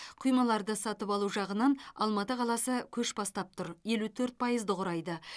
құймаларды сатып алу жағынан алматы қаласы көш бастап тұр елу төрт пайызды құрайды